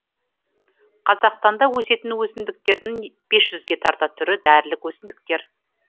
қазақстанда өсетін өсімдіктердің бес жүзге тарта түрі дәрілік өсімдіктер